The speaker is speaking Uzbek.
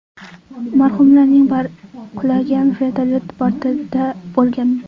Marhumlarning bari qulagan vertolyot bortida bo‘lgan.